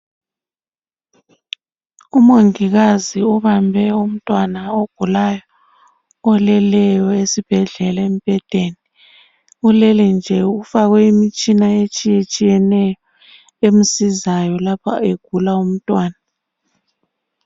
Umongikazi obambe umntwana ogulayo oleleyo esibhedlela embhedeni ulele nje kufakwe imitshina etshiyeneyo emsizayo lapha egula umntwana